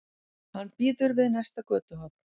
Hann bíður við næsta götuhorn.